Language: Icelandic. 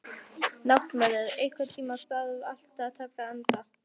Náttmörður, einhvern tímann þarf allt að taka enda.